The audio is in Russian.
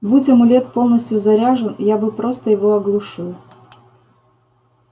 будь амулет полностью заряжен я бы просто его оглушил